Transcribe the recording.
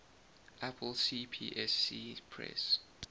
apple cpsc press